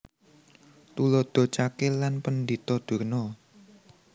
Tuladha Cakil lan Pendhita Durna